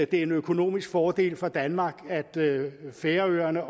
det er en økonomisk fordel for danmark at færøerne